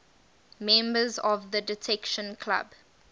members of the detection club